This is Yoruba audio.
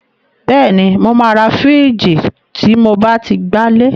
Bẹ́ẹ̀ni, mo máa ra fìíjìì tí mo bá ti gbalé.